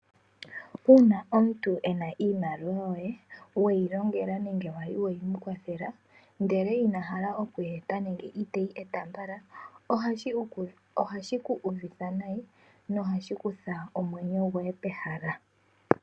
Uuna omuntu ena iimaliwa yoye weyilongela nenge kwali weyimukwathela ndele inahala okuyi eta nenge iteyi eta mbala ohashiku uvitha nayi na ohashikutha omwenyo goye pehala.